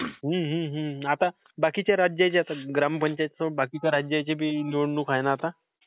हा, हा, हा. आता बाकीच्या राज्याच्या... ग्रामपंचायत सोड. आता बाकीच्या राज्याची बी निवडणुक हाय ना आता?